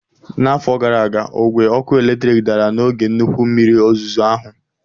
N'afọ gara aga, ogwe ọkụ eletrik dara n'oge nnukwu mmiri ozuzo ahụ